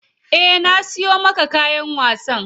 Eh na siyo maka kayan wasan.